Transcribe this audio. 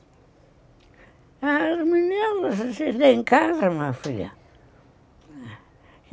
Ah, as meninas, vocês nem casa, minha filha.